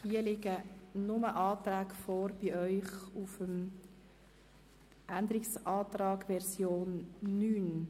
Hier liegen die Anträge nur auf der Liste der Änderungsanträge Version 9 vor.